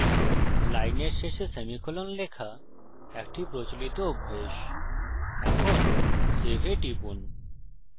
লাইনের শেষে সেমিকোলন লেখা একটি প্রচলিত অভ্যাস এখন save এ টিপুন